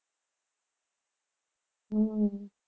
હમ